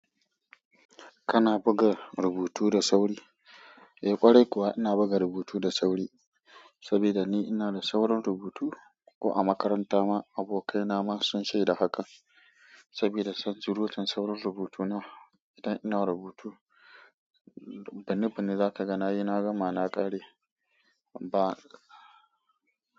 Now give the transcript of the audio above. Kana buga rubutu da sauri? Eh ƙwarai kuwa ina buga rubutu da sauri, saboda ni ina da saurin rubutu. Ko a makaranta ma abokaina ma sun shaida haka saboda tsantsar kan saurin rubutuna. Idan ina rubutu, binibinni za ka ga na yi na gama na ƙare ba.